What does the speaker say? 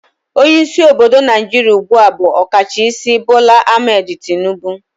Onye isi obodo naijiria ugbua bu Okachaisi Bola Ahmed Tinibu